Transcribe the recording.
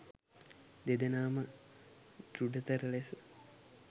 දෙදෙනා ම දෘඪතර ලෙස